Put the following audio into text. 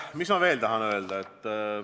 Mis ma veel tahan öelda?